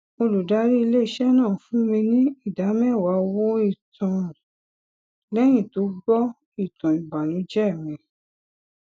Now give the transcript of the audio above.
olùdarí ilé iṣé náà fún mi ní ìdáméwàá owó ìtanràn léyìn tó gbó ìtàn ìbànújé mi